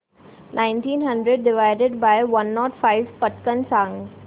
nineteen hundred divided by one nought five पटकन सांग